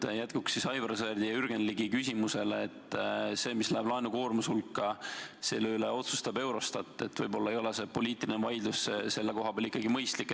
Ütlen jätkuks Aivar Sõerdi ja Jürgen Ligi küsimusele, et selle üle, mis läheb laenukoormuse hulka, otsustab Eurostat, nii et võib-olla ei ole poliitiline vaidlus selle koha peal ikkagi mõistlik.